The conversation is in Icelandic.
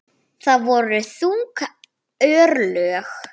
Það voru þung örlög.